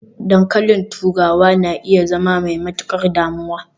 dankalin turawa na iya zama mai matukar damuwa